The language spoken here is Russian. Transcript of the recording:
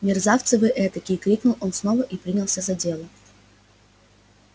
мерзавцы вы этакие крикнул он снова и принялся за дело